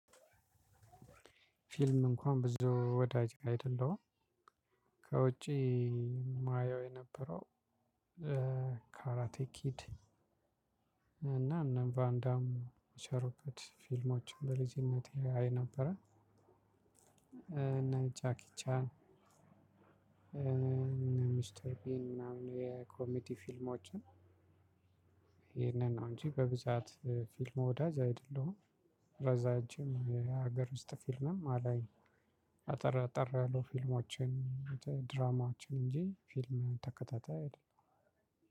ፊልም እንኳን ብዙ ወዳጅ አይደለሁም ከውጪ የማየው የነበረው ካራቴ ኪድ እና ቫንዳም ሸርበት ፊልሞችን በልጅነቴ አይ ነበረ እና ጃኪ ቻን ሚስተር ቢን ምናምን የኮሜዲ ፊልሞችን ይሄንን ነው እንጂ በብዛት ፊልም ወዳጅ አይደለሁም። ረጃጅም የሀገር ውስጥ ፊልምም አላይም አጠር አጠር ያሉ ፊልሞችን ድራማዎችን እንጂ ፊልም ተከታታይ አይደሉም።